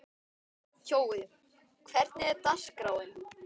Kjói, hvernig er dagskráin?